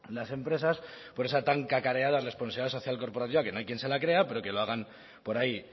las empresas por esa tan cacareada responsabilidad social corporativa que no hay quien se la crea pero que lo hagan por ahí